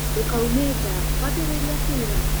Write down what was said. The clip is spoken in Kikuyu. Ndũkaume nja kwambĩrĩria kuura.